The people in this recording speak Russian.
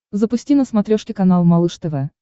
запусти на смотрешке канал малыш тв